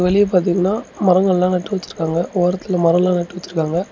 வெளிய பாத்தீங்கன்னா மரங்கள்ல நெட்டு வச்சிருக்காங்க. ஓரத்துல மரம்லாம் நட்டு வச்சிருக்காங்க.